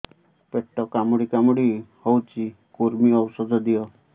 ପେଟ କାମୁଡି କାମୁଡି ହଉଚି କୂର୍ମୀ ଔଷଧ ଦିଅ